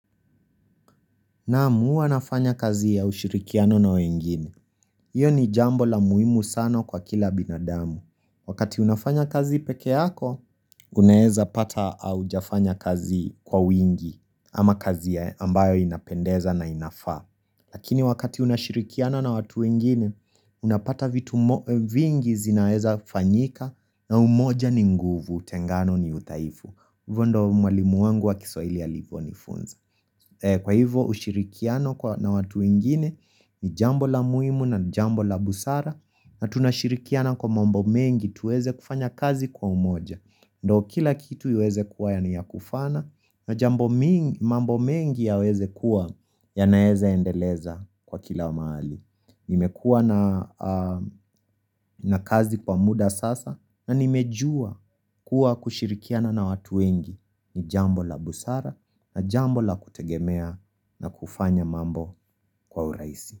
Naam, uwa nafanya kazi ya ushirikiano na wengine. Iyo ni jambo la muhimu sano kwa kila binadamu. Wakati unafanya kazi peke yako, uneeza pata au jafanya kazi kwa wingi ama kazi ya ambayo inapendeza na inafaa. Lakini wakati unashirikiano na watu wengine, unapata vingi zinaeza fanyika na umoja ni nguvu, tengano ni utaifu. Hivo ndo malimu wangu wa kiswaili aliponifunza. Kwa hivyo ushirikiano na watu ingine ni jambo la muhimu na jambo la busara na tunashirikiana kwa mambo mengi tuweze kufanya kazi kwa umoja ndo kila kitu uweze kuwa ya niya kufana na jambo mengi ya weze kuwa ya naeza endeleza kwa kila mahali Nimekua na kazi kwa muda sasa na nimejua kuwa kushirikiana na watu wengi ni jambo la busara na jambo la kutegemea na kufanya mambo kwa uraisi.